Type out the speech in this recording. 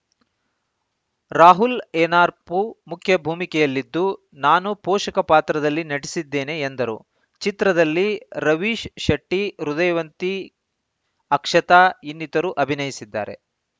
ರಾಹುಲ್‌ ಏನಾರ್ಪು ಮುಖ್ಯ ಭೂಮಿಕೆಯಲ್ಲಿದ್ದು ನಾನು ಪೋಷಕ ಪಾತ್ರದಲ್ಲಿ ನಟಿಸಿದ್ದೇನೆ ಎಂದರು ಚಿತ್ರದಲ್ಲಿ ರವೀಶ್‌ ಶೆಟ್ಟಿ ಹೃದಯವಂತಿ ಅಕ್ಷತಾ ಇನ್ನಿತರು ಅಭಿನಯಿಸಿದ್ದಾರೆ